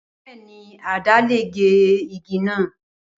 Bẹẹni, àdá le ge igi naa.